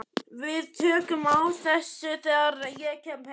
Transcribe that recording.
Við tökum á þessu þegar ég kem.